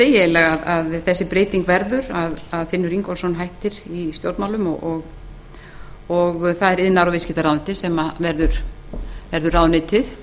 degi að sú breyting varð að finnur ingólfsson hætti í stjórnmálum og iðnaðar og viðskiptaráðuneytið varð ráðuneytið